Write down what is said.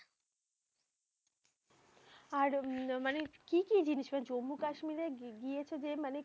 আর উম মানে কি কি জিনিস? মানে জম্মু কাশ্মীরে গিয়েছো যে মানে